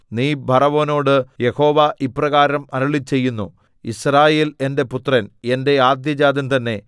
നീ ഫറവോനോട് യഹോവ ഇപ്രകാരം അരുളിച്ചെയ്യുന്നു യിസ്രായേൽ എന്റെ പുത്രൻ എന്റെ ആദ്യജാതൻ തന്നെ